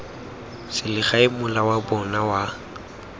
selegae mola wa bona wa